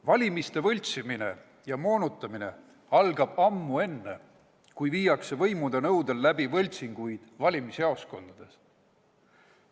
Valimiste võltsimine ja moonutamine algab ammu enne seda, kui võimude nõudel viiakse läbi võltsingud valimisjaoskondades.